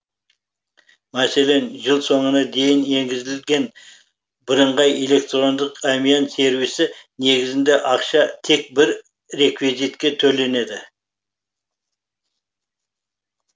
мәселен жыл соңына дейін енгізілген бірыңғай электрондық әмиян сервисі негізінде ақша тек бір реквизитке төленеді